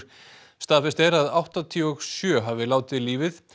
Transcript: staðfest er að áttatíu og sjö hafi látið lífið